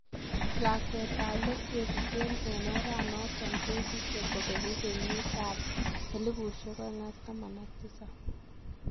Lakwetab leet kesiche en oranoton kesije kobengu keyiitab 2017.